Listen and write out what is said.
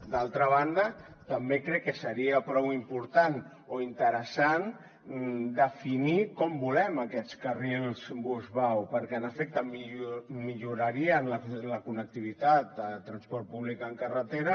d’altra banda també crec que seria prou important o interessant definir com volem aquests carrils bus vao perquè en efecte millorarien la connectivitat de transport públic en carretera